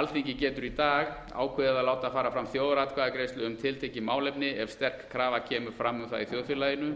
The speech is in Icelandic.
alþingi getur í dag ákveðið að láta fara fram þjóðaratkvæðagreiðslu um tiltekið málefni ef sterk krafa kemur fram um það í þjóðfélaginu